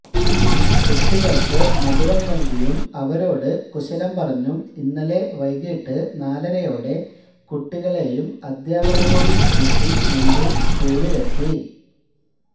കുട്ടികള്ക്ക് മധുരം നല്കിയും അവരോട് കുശലം പറഞ്ഞും ഇന്നലെ വൈകീട്ട് നാലരയോടെ കുട്ടികളേയും അധ്യാപകരേയും കൂട്ടി മന്ത്രി സ്കൂളിലെത്തി